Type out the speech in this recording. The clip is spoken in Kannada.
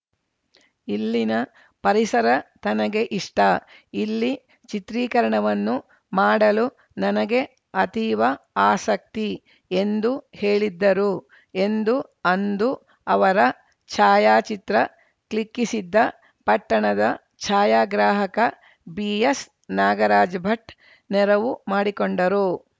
ಇಲ್ಲಿನ ಪರಿಸರ ತನಗೆ ಇಷ್ಟ ಇಲ್ಲಿ ಚಿತ್ರೀಕರಣವನ್ನು ಮಾಡಲು ನನಗೆ ಅತೀವ ಆಸಕ್ತಿ ಎಂದು ಹೇಳಿದ್ದರು ಎಂದು ಅಂದು ಅವರ ಛಾಯಾಚಿತ್ರ ಕ್ಲಿಕ್ಕಿಸಿದ್ದ ಪಟ್ಟಣದ ಛಾಯಾಗ್ರಾಹಕ ಬಿಎಸ್‌ ನಾಗರಾಜ್‌ ಭಟ್‌ ನೆರವು ಮಾಡಿಕೊಂಡರು